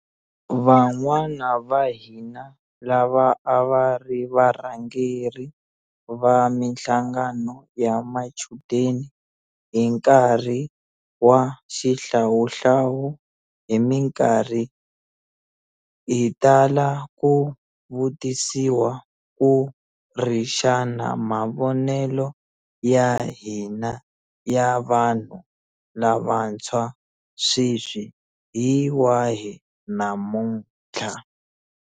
Van'wana vahina lava a va ri varhangeri va mihlangano ya machudeni hi nkarhi wa xihlawuhlawu hi mikarhi hi tala ku vutisiwa ku ri xana mavonelo ya hina ya vanhu lavantshwa sweswi hi wahi namutlha.